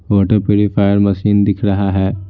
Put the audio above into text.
Water purifier machine दिख रहा है।